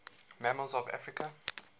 mammals of africa